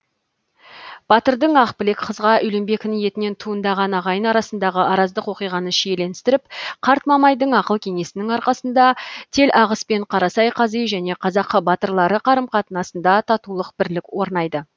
батырдың ақбілек қызға үйленбек ниетінен туындаған ағайын арасындағы араздық оқиғаны шиеленістіріп қарт мамайдың ақыл кеңесінің арқасында телағыс пен қарасай қази және қазақ батырлары қарым қатынасында татулық бірлік орнайды